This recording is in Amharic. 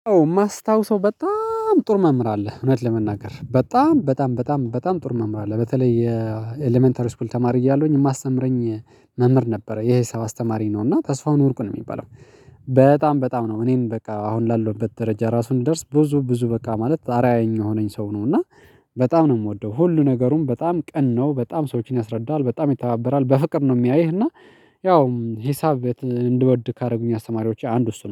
ማስታወስው በጣም ጥር መምህር አለ እውነት ለመናገር በጣም በጣም በጣም በጣም በጣም ጥር መምህር አለ በተለይ የኤለመንተሪ ስኩል ተማሪ እያለውኝ የሚያስተምረኝ መምህር ነበረ የሂሳብ አስተማሪ ነው እና ተስፋውን ወርቁን የሚባለው። በጣም በጣም ነው። እኔም በቃ አሁን ላለውበት ደረጃ ራሱን እንድደርስ ብዙ ብዙ በቃ ማለት አራአያ ሆነኝ ሰው ነው እና። በጣም ነው የምወደው። ሁሉ ነገሩም በጣም ቀን ነው። በጣም ሰዎችን ያስረዳል በጣም ይተባበራል በፍቅር ነው የሚያይህ እና። ያው ሂሳብ እንድውድ ካደረጉኝ አስተማሪዎች አንዱ እሱ ነው